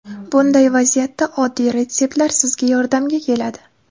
Bunday vaziyatda oddiy retseptlar sizga yordamga keladi.